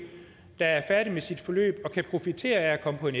der er færdig med sit forløb og kan profitere af at komme på en